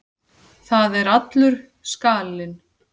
Það er allur skalinn.